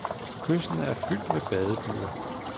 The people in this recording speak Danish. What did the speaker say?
Kysten er fyldt med badebyer.